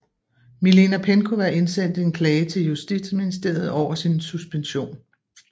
Milena Penkowa indsendte en klage til Justitsministeriet over sin suspension